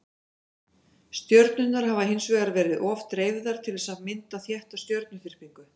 stjörnurnar hafa hins vegar verið of dreifðar til þess að mynda þétta stjörnuþyrpingu